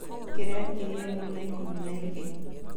kĩrĩa ngĩrĩ ĩmwe na ĩkũmi na ĩgĩri